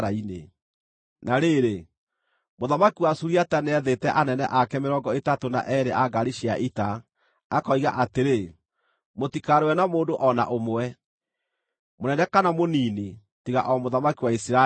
Na rĩrĩ, mũthamaki wa Suriata nĩathĩte anene ake mĩrongo ĩtatũ na eerĩ a ngaari cia ita, akoiga atĩrĩ, “Mũtikarũe na mũndũ o na ũmwe, mũnene kana mũnini, tiga o mũthamaki wa Isiraeli.”